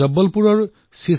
এই খবৰ অতিশয় প্ৰেৰণাদায়ী